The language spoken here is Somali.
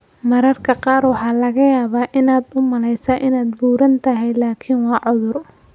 Mararka qaar waxaa laga yaabaa inaad u maleyso inaad buuran tahay laakiin waa cudur.